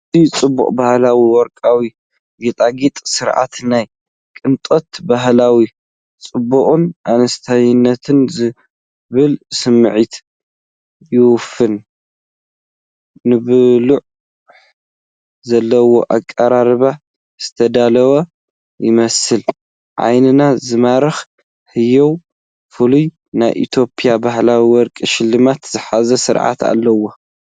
ኣዝዩ ጽቡቕን ባህላውን ወርቃዊ ጌጣጌጥ ስርዓት። ናይ ቅንጦት፣ ባህላዊ ጽባቐን ኣንስታይነትን ዝብል ስምዒት ይፍንው፤ ንብልሒ ዘለዎ ኣቀራርባ ዝተዳለወ ይመስል። ዓይኒ ዝማርኽ፣ ህያው፣ ፍሉይ ናይ ኢትዮጵያ ባህላዊ ወርቂ ሽልማት ዝሓዘ ስርዓት ኣለዎ።